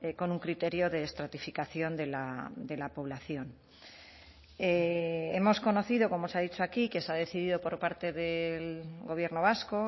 con un criterio de estratificación de la población hemos conocido como se ha dicho aquí que se ha decidido por parte del gobierno vasco